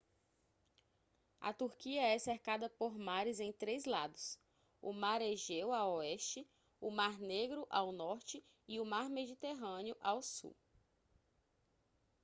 a turquia é cercada por mares em três lados o mar egeu a oeste o mar negro ao norte e o mar mediterrâneo ao sul